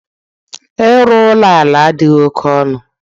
Ịrụ ụlọ ala adịghị oke ọnụ.